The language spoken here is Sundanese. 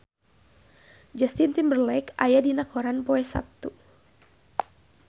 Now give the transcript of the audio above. Justin Timberlake aya dina koran poe Saptu